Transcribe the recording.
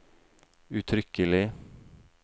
uttrykkelig